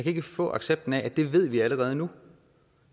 ikke få accepten af at det ved vi allerede nu